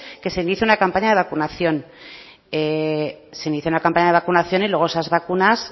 que se inicie una campaña de vacunación se inicia una campaña de vacunación y luego esas vacunas